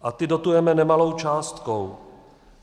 A ty dotujeme nemalou částkou.